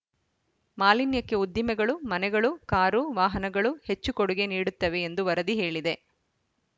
ಮಾಲಿನ್ಯಕ್ಕೆ ಉದ್ದಿಮೆಗಳು ಮನೆಗಳು ಕಾರು ವಾಹನಗಳು ಹೆಚ್ಚು ಕೊಡುಗೆ ನೀಡುತ್ತವೆ ಎಂದು ವರದಿ ಹೇಳಿದೆ